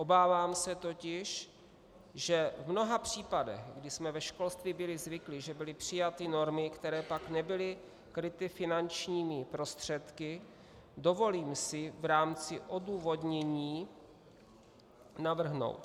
Obávám se totiž, že v mnoha případech, kdy jsme ve školství byli zvyklí, že byly přijaty normy, které pak nebyly kryty finančními prostředky, dovolím si v rámci odůvodnění navrhnout.